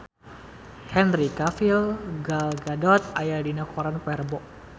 Henry Cavill Gal Gadot aya dina koran poe Rebo